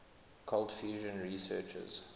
cold fusion researchers